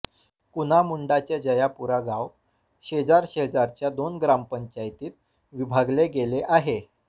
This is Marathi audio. कुना मुंडा चे जयापुरा गाव शेजार शेजारच्या दोन ग्रामपंचायतीत विभागले गेले आहे